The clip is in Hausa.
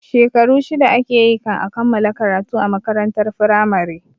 Shekaru shida ake yi kan a kammala karatu a makarantar firamare